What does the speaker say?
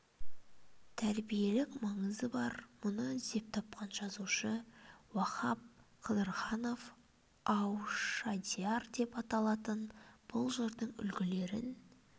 тәрбиелік маңызы бар мұны іздеп тапқан жазушы уахап қыдырханов аушадияр деп атаалтын бұл жырдың үлгілерін